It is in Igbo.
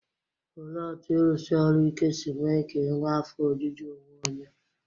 Olee otú ịrụsi ọrụ ike si mee ka e nwee afọ ojuju onwe onye?